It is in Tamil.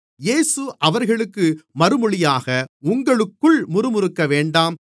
இயேசு அவர்களுக்கு மறுமொழியாக உங்களுக்குள் முறுமுறுக்க வேண்டாம்